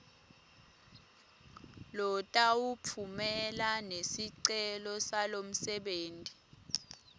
lotawutfumela nesicelo salomsebenti